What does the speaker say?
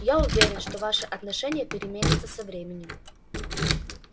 я уверен что ваше отношение переменится со временем